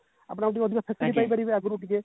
ଆପଣ ଆଉ ଟିକେ facility ପାଇ ପାରିବେ ଆଗରୁ ଟିକେ